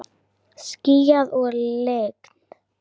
Skýjað og lygnt.